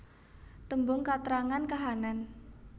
Tembung katrangan kahanan